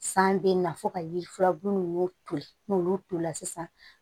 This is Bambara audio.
San bɛ na fo ka yiri furun n'olu tolila sisan